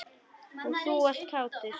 Og þú ert kátur.